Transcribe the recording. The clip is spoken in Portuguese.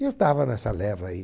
E eu estava nessa leva aí.